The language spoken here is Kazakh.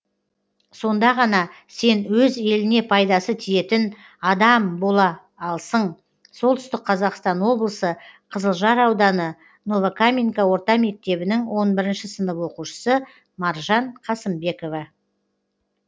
сонда ғана сен өз еліне пайдасы тиетін адам бола алсың солтүстік қазақстан облысы қызылжар ауданы новокаменка орта мектебінің он бірінші сынып оқушысы маржан қасымбекова